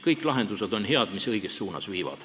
Kõik lahendused on head, mis õiges suunas viivad.